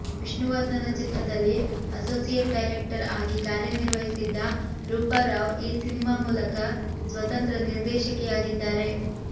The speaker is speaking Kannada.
ವಿಷ್ಣುವರ್ಧನ ಚಿತ್ರದಲ್ಲಿ ಅಸೋಸಿಯೇಟ್ ಡೈರೆಕ್ಟರ್ ಆಗಿ ಕಾರ್ಯ ನಿರ್ವಹಿಸಿದ್ದ ರೂಪಾ ರಾವ್ ಈ ಸಿನಿಮಾ ಮೂಲಕ ಸ್ವತಂತ್ರ ನಿರ್ದೇಶಕಿಯಾಗಿದ್ದಾರೆ